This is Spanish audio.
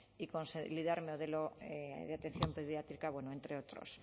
y consolidar un modelo de atención pediátrica entre otros